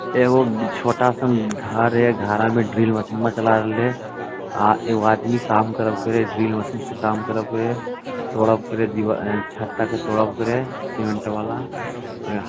एगो छोटा सन घर है घरा में ड्रिल मशीनवा चला रहले अ एगो आदमी काम करब करे ड्रिल मशीनवा से काम करब करे तोरब करे छता के तोरब करे सीमेंट वला--